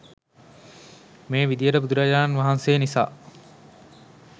මේ විධියට බුදුරජාණන් වහන්සේ නිසා